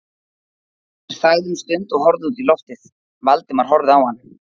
Oddur þagði um stund og horfði út í lofið, Valdimar horfði á hann.